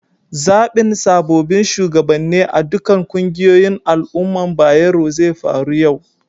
Zabin sabobin shugabane a'ɗukan ƙungiyoyin al umman Bayero zai faru yau.